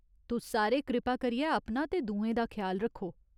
तुस सारे कृपा करियै अपना ते दुएं दा ख्याल रक्खो।